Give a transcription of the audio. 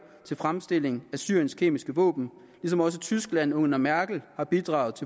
til fremstilling af syriens kemiske våben ligesom også tyskland under merkel har bidraget